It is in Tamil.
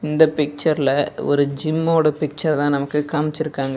இந்த பிச்சர்ல ஒரு ஜிம்மோட பிக்சர் தா நமக்கு காமிச்சிருக்காங்க.